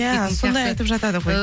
иә сондай айтып жатады ғой